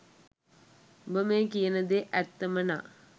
උඹ මේ කියන දේ ඇත්තම නම්